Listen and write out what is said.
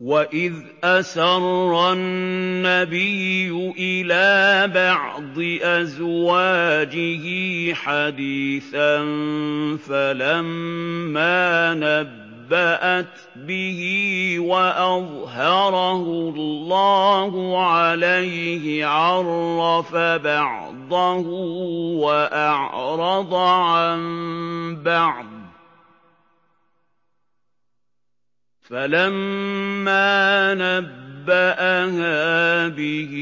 وَإِذْ أَسَرَّ النَّبِيُّ إِلَىٰ بَعْضِ أَزْوَاجِهِ حَدِيثًا فَلَمَّا نَبَّأَتْ بِهِ وَأَظْهَرَهُ اللَّهُ عَلَيْهِ عَرَّفَ بَعْضَهُ وَأَعْرَضَ عَن بَعْضٍ ۖ فَلَمَّا نَبَّأَهَا بِهِ